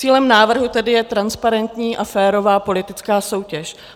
Cílem návrhu tedy je transparentní a férová politická soutěž.